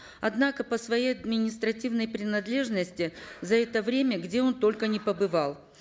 однако по своей административной принадлежности за это время где он только не побывал